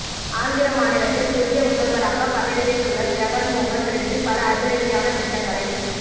ஆந்திர மாநிலத்தில் புதிய முதல்வராகப் பதவியேற்றுள்ள ஜெகன்மோகன் ரெட்டி பல அதிரடியான திட்டங்களைச்